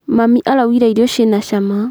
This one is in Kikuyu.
Mami arugire irio ciina cama.